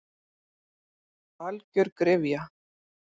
Algjör gryfja.